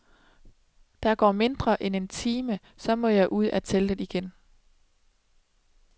Der går mindre end en time, så må jeg ud af teltet igen.